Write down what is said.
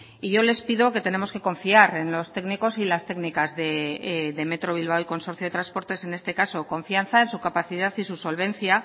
y yo les pido que tenemos que confiar en los técnicos y las técnicas de metro bilbao y consorcio de transportes en este caso confianza en su capacidad y su solvencia